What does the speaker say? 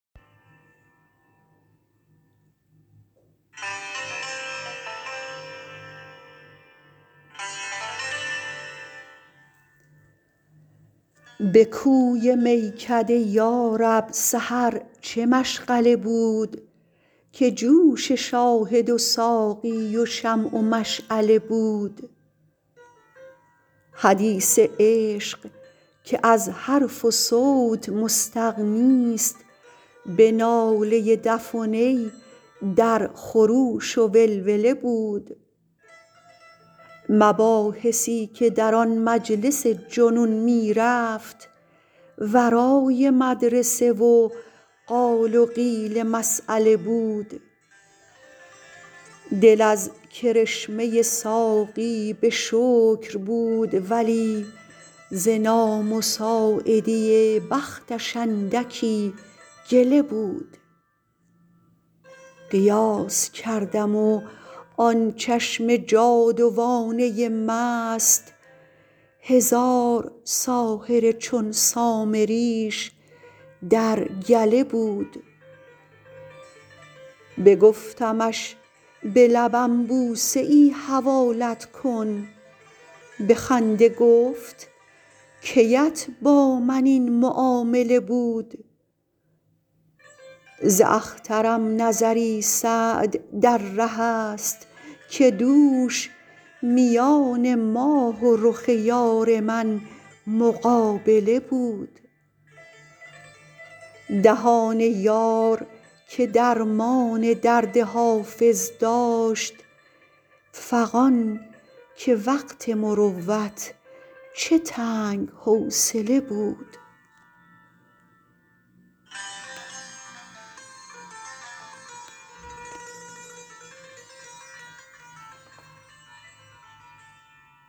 به کوی میکده یا رب سحر چه مشغله بود که جوش شاهد و ساقی و شمع و مشعله بود حدیث عشق که از حرف و صوت مستغنیست به ناله دف و نی در خروش و ولوله بود مباحثی که در آن مجلس جنون می رفت ورای مدرسه و قال و قیل مسأله بود دل از کرشمه ساقی به شکر بود ولی ز نامساعدی بختش اندکی گله بود قیاس کردم و آن چشم جادوانه مست هزار ساحر چون سامریش در گله بود بگفتمش به لبم بوسه ای حوالت کن به خنده گفت کی ات با من این معامله بود ز اخترم نظری سعد در ره است که دوش میان ماه و رخ یار من مقابله بود دهان یار که درمان درد حافظ داشت فغان که وقت مروت چه تنگ حوصله بود